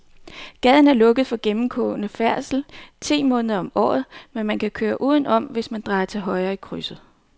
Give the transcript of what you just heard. Gaden er lukket for gennemgående færdsel ti måneder om året, men man kan køre udenom, hvis man drejer til højre i krydset.